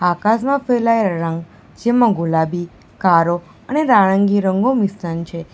આકાશમાં ફેલાયલા રંગ જેમાં ગુલાબી કાળો અને નારંગી રંગો મિશ્રણ છે.